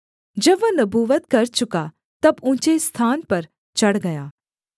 जब वह नबूवत कर चुका तब ऊँचे स्थान पर चढ़ गया